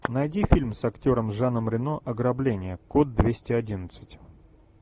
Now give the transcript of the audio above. найди фильм с актером жаном рено ограбление код двести одиннадцать